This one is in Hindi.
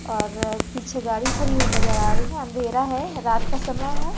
और पीछे गाड़ी खड़ी हुई नजर आ रही है अंधेरा है रात का समय है।